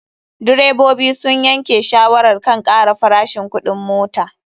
Direbobi sun yanke shawarar kan kara farashin kuɗin mota.